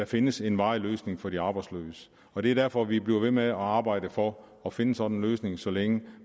findes en varig løsning for de arbejdsløse og det er derfor vi bliver ved med at arbejde for at finde sådan en løsning så længe